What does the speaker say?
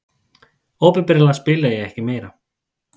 Opinberlega spila ég ekki meira.